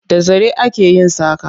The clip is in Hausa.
Da zare ake yin saƙa.